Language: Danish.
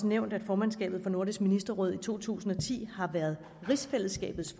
nævnt at formandskabet for nordisk ministerråd i to tusind og ti har været rigsfællesskabets